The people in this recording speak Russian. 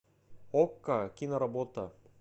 окко киноработа